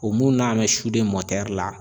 O mun na n mɛ sude la.